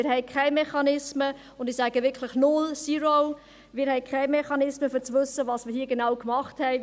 Wir haben keine Mechanismen, und ich sage wirklich null, «zero», wir haben keine Mechanismen, um zu wissen, was wir hier genau gemacht haben.